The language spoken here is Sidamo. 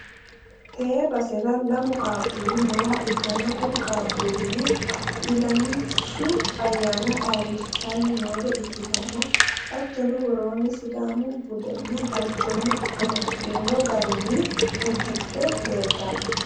tte basera lamu qaaqqulli nooha ikkanna, kuri qaaqqullino ilamishhsu ayyaana ayyrisidhanni noore ikkitanna, hattono woroonni sidaamu budenna balchooma amadino garinni uddidhe leeltanno.